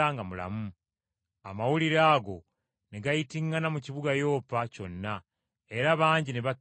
Amawulire ago ne gayitiŋŋana mu kibuga Yopa kyonna era bangi ne bakkiriza Mukama.